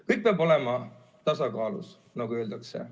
Kõik peab olema tasakaalus, nagu öeldakse.